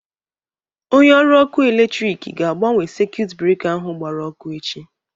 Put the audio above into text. Onye ọrụ ọkụ electriki ga-agbanwe sekuit breka ahụ gbara ọkụ echi.